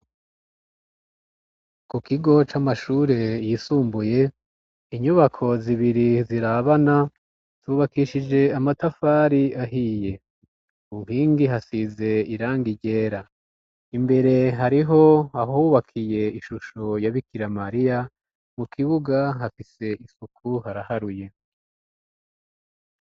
Ku kigo c'amashure yisumbuye inyubako zibiri zirabana zubakishije amatafari ahiye kunkingi hasize iranga igera imbere hariho hahubakiye ishusho ya bikira mariya mu kibuga hafise isuku haraharuye.